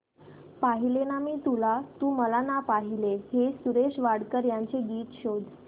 पाहिले ना मी तुला तू मला ना पाहिले हे सुरेश वाडकर यांचे गीत शोध